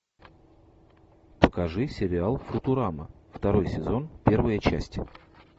покажи сериал футурама второй сезон первая часть